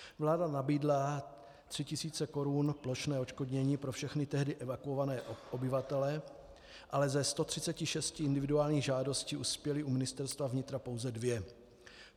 Vláda nabídla tři tisíce korun plošné odškodnění pro všechny tehdy evakuované obyvatele, ale ze 136 individuálních žádostí uspěly u Ministerstva vnitra pouze dvě.